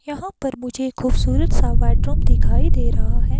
यहाँ पर मुझे खूबसूरत सा बेडरूम दिखाई दे रहा है।